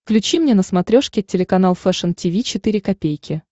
включи мне на смотрешке телеканал фэшн ти ви четыре ка